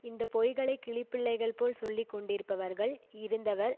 இந்த பொய்களை கிளிப்பிள்ளைகள் போல் சொல்லி கொண்டிருப்பவர்கள் இருந்தவர்